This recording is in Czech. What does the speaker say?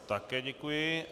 Také děkuji.